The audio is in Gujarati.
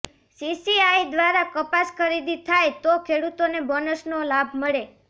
સીસીઆઇ દ્વારા કપાસ ખરીદી થાય તો ખેડૂતોને બોનસનો લાભ મળે